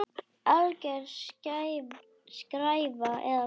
Alger skræfa eða hvað?